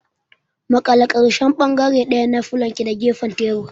Maƙale ƙarshen bangare ɗaya na fulanki da gefen tebur.